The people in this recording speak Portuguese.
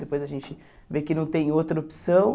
Depois a gente vê que não tem outra opção.